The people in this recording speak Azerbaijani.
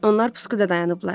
Onlar pusquda dayanıblar.